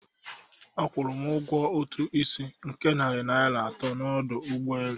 Akwụrụ m ụgwọ ụtụ isi nke narị naira atọ n'ọdụ ụgbọ elu.